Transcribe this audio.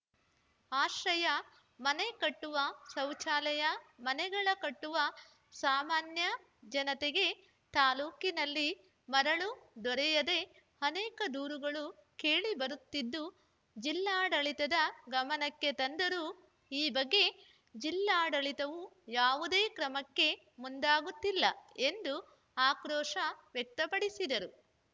ಆಶ್ರಯ ಮನೆ ಕಟ್ಟುವ ಶೌಚಾಲಯ ಮನೆಗಳ ಕಟ್ಟುವ ಸಾಮಾನ್ಯ ಜನತೆಗೆ ತಾಲ್ಲೂಕಿನಲ್ಲಿ ಮರಳು ದೊರೆಯದೆ ಅನೇಕ ದೂರುಗಳು ಕೇಳಿಬರುತ್ತಿದ್ದು ಜಿಲ್ಲಾಡಳಿತದ ಗಮನಕ್ಕೆ ತಂದರೂ ಈ ಬಗ್ಗೆ ಜಿಲ್ಲಾಡಳಿತವು ಯಾವುದೇ ಕ್ರಮಕ್ಕೆ ಮುಂದಾಗುತ್ತಿಲ್ಲ ಎಂದು ಆಕ್ರೋಶ ವ್ಯಕ್ತಪಡಿಸಿದರು